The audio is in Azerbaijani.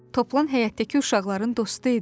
Toplan həyətdəki uşaqların dostu idi.